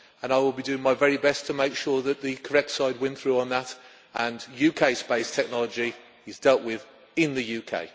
I will be doing my very best to make sure that the correct side wins through on that and that UK space technology is dealt with in the UK.